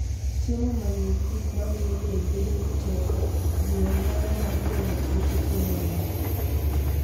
Chiemo ma nigi gik mamiyo del bedo gi teko, jiwo nyalo mar geng'o tuoche kuom winy.